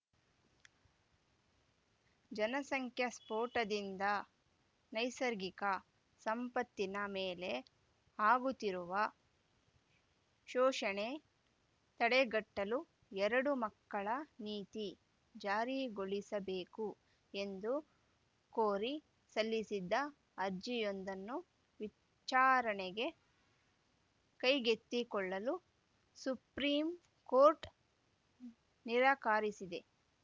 ಜನಸಂಖ್ಯಾ ಸ್ಫೋಟದಿಂದ ನೈಸರ್ಗಿಕ ಸಂಪತ್ತಿನ ಮೇಲೆ ಆಗುತ್ತಿರುವ ಶೋಷಣೆ ತಡೆಗಟ್ಟಲು ಎರಡು ಮಕ್ಕಳ ನೀತಿ ಜಾರಿಗೊಳಿಸಬೇಕು ಎಂದು ಕೋರಿ ಸಲ್ಲಿಸಿದ್ದ ಅರ್ಜಿಯೊಂದನ್ನು ವಿಚ್ಚಾರಣೆಗೆ ಕೈಗೆತ್ತಿಕೊಳ್ಳಲು ಸುಪ್ರೀಂಕೋರ್ಟ್‌ ನಿರಾಕಾರಿಸಿದೆ